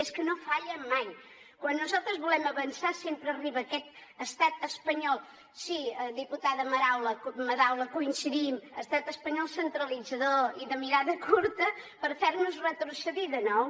i és que no falla mai quan nosaltres volem avançar sempre arriba aquest estat espanyol sí diputada madaula coincidim centralitzador i de mirada curta per fer nos retrocedir de nou